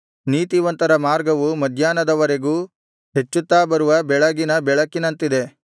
ನೀತಿವಂತರ ಮಾರ್ಗವು ಮಧ್ಯಾಹ್ನದ ವರೆಗೂ ಹೆಚ್ಚುತ್ತಾ ಬರುವ ಬೆಳಗಿನ ಬೆಳಕಿನಂತಿದೆ